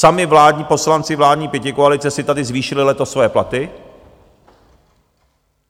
Sami vládní poslanci vládní pětikoalice si tady zvýšili letos svoje platy.